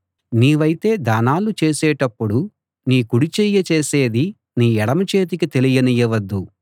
నీవైతే దానాలు చేసేటప్పుడు నీ కుడి చెయ్యి చేసేది నీ ఎడమ చేతికి తెలియనీయవద్దు